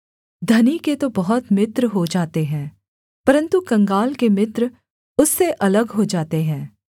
धनी के तो बहुत मित्र हो जाते हैं परन्तु कंगाल के मित्र उससे अलग हो जाते हैं